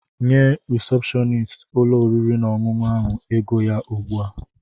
Nye risepshọnist ụlọ oriri na ọṅụṅụ ahụ ego ya ugbu a!